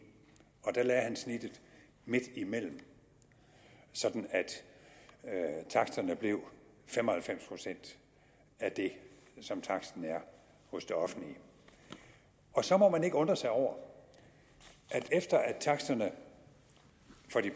og da lagde han snittet midtimellem sådan at taksterne blev fem og halvfems procent af det som taksten er hos de offentlige og så må man ikke undre sig over at efter at taksterne